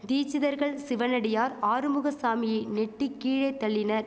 தீச்சிதர்கள் சிவனடியார் ஆறுமுகசாமியை நெட்டி கீழே தள்ளினர்